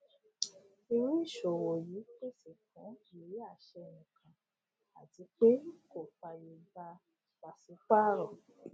irú ìṣòwò yìí pèsè fún ìwé àṣẹ nìkan àti pé kò fàyè gba pàṣípàrọ